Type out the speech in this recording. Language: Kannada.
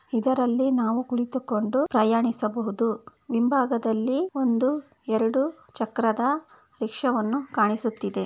ಇದರಲ್ಲಿ ನಾವು ಕುಳಿತುಕೊಂಡು ಪ್ರಯಾಣಿಸಬಹುದು ಹಿಂಬಾಗದಲ್ಲಿ ಒಂದು ಎರಡು ಚಕ್ರದ ರಿಕ್ಷಾ ಕಾಣಿಸುತ್ತಿದೆ.